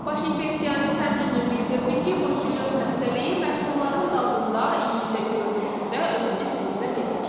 Baş infeksionist həmçinin bildirdi ki, bruselyoz xəstəliyi məhsulların dadında, iyində, görünüşündə özünü biruzə vermir.